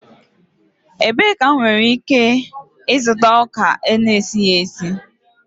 Ebee ka m nwere ike ịzụta ọka a na-esiri esi?